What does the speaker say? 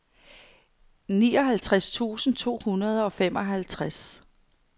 nioghalvtreds tusind to hundrede og femoghalvtreds